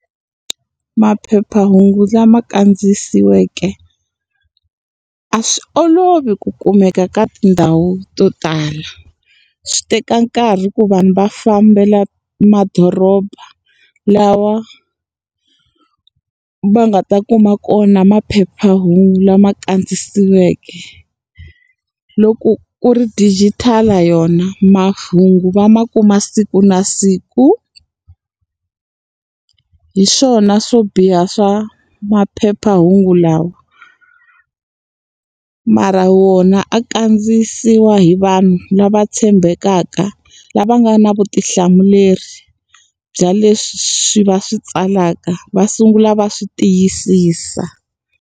Maphephahungu lama kandziyisiweke, a swi olovi ku kumeka ka tindhawu to tala. Swi teka nkarhi ku vanhu va fambela madoroba, lawa va nga ta kuma kona maphephahungu lama kandziyisiweke. Loko ku ri digital-i yona mahungu va ma kuma siku na siku. Hiswona swo biha swa maphephahungu lawa. Mara wona a kandziyisiwa hi vanhu lava tshembekaka, lava nga na vutihlamuleri bya leswi swi va swi tsalaka va sungula va swi tiyisisa.